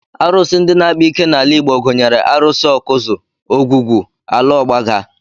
Arụsị ndị na-akpa ike n'ala Igbo gụnyere Arụsị Awkuzu, ogwugwu, ala ọgbaga